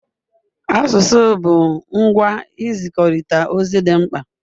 Asụsụ bụ ngwa nzikọrịta ozi dị mkpa.